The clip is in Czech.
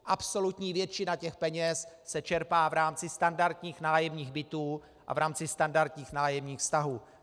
Absolutní většina těch peněz se čerpá v rámci standardních nájemních bytů a v rámci standardních nájemních vztahů.